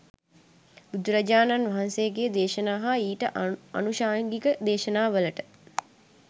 බුදුරජාණන් වහන්සේගේ දේශනා හා ඊට ආනුශංගික දේශනාවලට